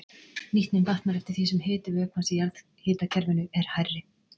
Nýtnin batnar eftir því sem hiti vökvans í jarðhitakerfinu er hærri.